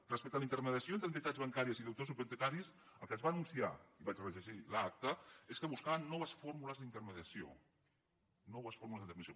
respecte a la intermediació entre entitats bancàries i deutors hipotecaris el que ens va anunciar i vaig rellegir l’acta és que buscaven noves fórmules d’intermediació noves fórmules d’intermediació